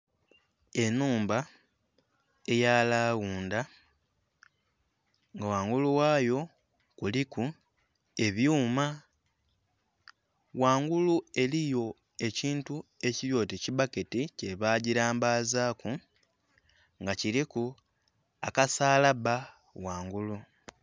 Enhumba eya lawundha nga wangulu wayo kuliku ebyuma wangulu eriyo ekintu ekiryoti kibbaketi kyebagirambazaku nga kuliku akasalabba wangulu.